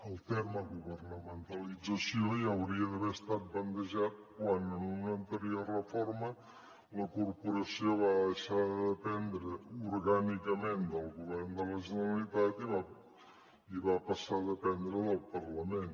el terme governamentalització ja hauria d’haver estat bandejat quan en una anterior reforma la corporació va deixar de dependre orgànicament del govern de la generalitat i va passar a dependre del parlament